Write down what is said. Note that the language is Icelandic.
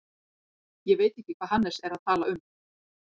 Ég veit ekki hvað Hannes er að tala um.